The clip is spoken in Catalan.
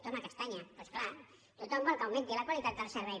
toma castaña doncs és clar tothom vol que augmenti la qualitat del servei